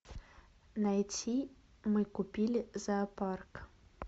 найти мы купили зоопарк